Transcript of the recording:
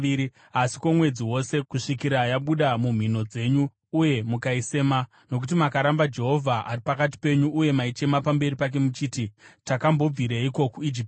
asi kwomwedzi wose, kusvikira yabuda nomumhino dzenyu uye mukaisema, nokuti makaramba Jehovha, ari pakati penyu, uye maichema pamberi pake muchiti, “Takambobvireiko kuIjipiti?” ’”